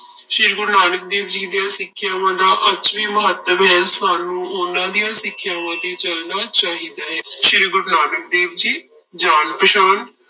ਸ੍ਰੀ ਗੁਰੂ ਨਾਨਕ ਦੇਵ ਜੀ ਦੀਆਂ ਸਿੱਖਿਆਵਾਂ ਦਾ ਅੱਜ ਵੀ ਮਹੱਤਵ ਹੈ, ਸਾਨੂੰ ਉਹਨਾਂ ਦੀਆਂ ਸਿੱਖਿਆਵਾਂ ਤੇ ਚੱਲਣਾ ਚਾਹੀਦਾ ਹੈ, ਸ੍ਰੀ ਗੁਰੂ ਨਾਨਕ ਦੇਵ ਜੀ, ਜਾਣ ਪਛਾਣ